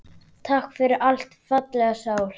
Takk fyrir allt, fallega sál.